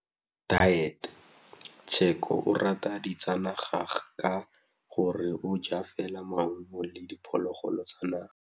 Tshekô o rata ditsanaga ka gore o ja fela maungo le diphologolo tsa naga.